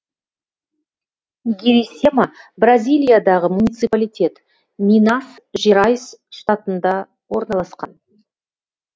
гирисема бразилиядағы муниципалитет минас жерайс штатында орналасқан